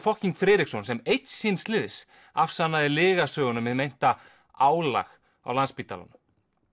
fokking Friðriksson sem einn síns liðs afsannaði lygasöguna um hið meinta álag á Landspítalanum